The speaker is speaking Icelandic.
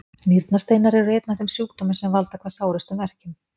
Nýrnasteinar eru einn af þeim sjúkdómum sem valda hvað sárustum verkjum.